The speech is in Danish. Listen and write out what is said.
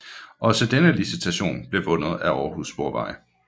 Også denne licitation blev vundet af Aarhus Sporveje